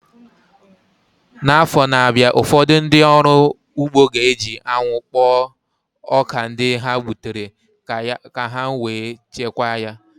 N'afọ na-abịa, ụfọdụ ndị ọrụ ugbo ga-eji anwụ kpọọ ọka ndị ha gbutere ka ha wee chekwaa ya